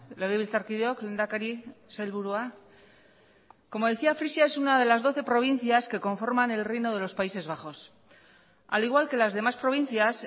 legebiltzarkideok lehendakari sailburua como decía frisia es una de las doce provincias que conforman el reino de los países bajos al igual que las demás provincias